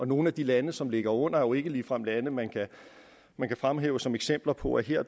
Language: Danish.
nogle af de lande som ligger under er jo ikke ligefrem lande man kan fremhæve som eksempler på at her